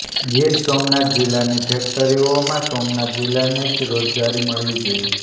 ગીર સોમનાથ જીલ્લાની ફેક્ટરીઓમાં સોમનાથ જીલ્લાને જ રોજગારી મળવી જોઇએ